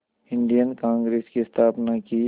Indian Congress की स्थापना की